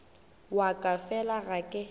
wa ka fela ga ke